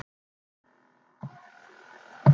Páll Magnússon: Hverjum dettur þetta í hug?